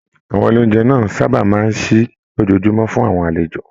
Àwọn ilé oúnjẹ náà sábà máa n sí lójoojúmọ́ fún àwọn àlejò.